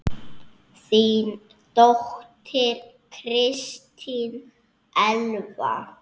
Þín dóttir, Kristín Elfa.